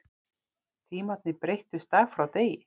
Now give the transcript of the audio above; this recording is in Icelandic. Tímarnir breyttust dag frá degi.